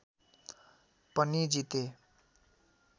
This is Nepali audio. पनि जिते